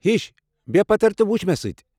ہِش! بیہہ پتھر تہٕ وُچھ مےٚ سۭتہِ۔